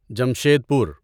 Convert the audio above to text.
جمشید پور